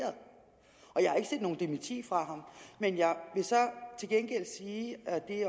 noget dementi fra ham men jeg vil så til gengæld sige at vi